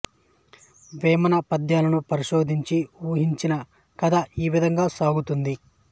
వేమన పద్యాలను పరిశోధించి ఊహించిన కథ ఈ విధంగా సాగుతుంది